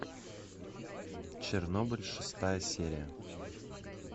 чернобыль шестая серия